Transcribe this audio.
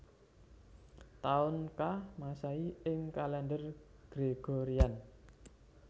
Taun ka Masehi ing kalèndher Gregorian